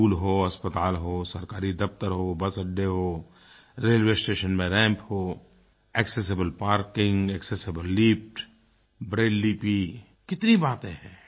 school हो अस्पताल हो सरकारी दफ़्तर हो बस अड्डे हों रेलवे स्टेशन में रैम्प्स हो accessible parking accessible lifts Braille लिपि कितनी बातें हैं